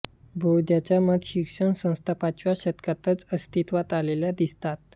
बौद्धांच्या मठ शिक्षणसंस्था पाचव्या शतकातच अस्तित्वात आलेल्या दिसतात